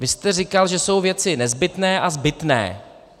Vy jste říkal, že jsou věci nezbytné a zbytné.